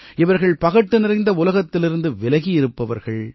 இவர்கள் பகட்டு நிறைந்த உலகத்திலிருந்து விலகி இருப்பவர்கள்